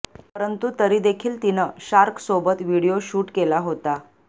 परंतु तरी देखील तिनं शार्कसोबत व्हिडिओ शूट केला होता